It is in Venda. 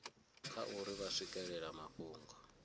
kha uri vha swikelela mafhungo